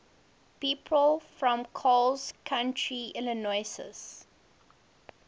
people from coles county illinois